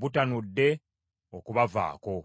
butanudde okubavaako.